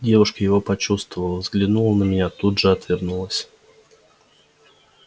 девушка его почувствовала взглянула на меня тут же отвернулась